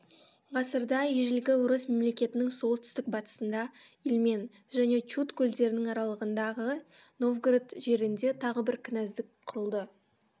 ғасырда ежелгі орыс мемлекетінің солтүстік батысында ильмень және чуд көлдерінің аралығындағы новгород жерінде тағы бір кінәздік құрылды